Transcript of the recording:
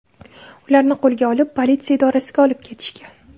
Ularni qo‘lga olib, politsiya idorasiga olib ketishgan.